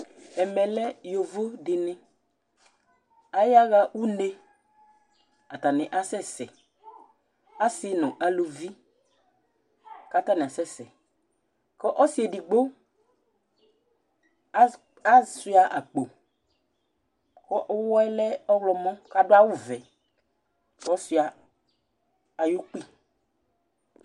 ɛmɛ lɛ yovo dini, aya ɣa une, ata ni asɛsɛ, ɔsi nu uluvi, kata asɛsɛ ku ɔsi edigbo asʋia akpo, ku uwɔɛ lɛ ɔwlɔmɔ ku adu awu vɛ, kɔsʋia ayukpi